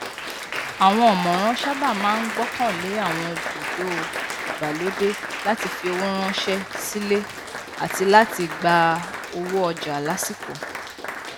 àwọn ọmọràn saábà máa n gbọkànlé àwọn bùdó ìgbàlódé láti fi owó ránṣẹ sílé àti láti gba owó ọjà lásìkò